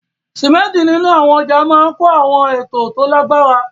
Símẹ́ńtì nínú àwọn ọjà máa ń kọ́ àwọn ètò tó lágbára.